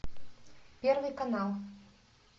первый канал